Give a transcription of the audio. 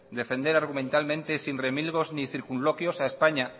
defender argumentalmente sin remilgos ni circunloquios a españa